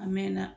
A mɛn na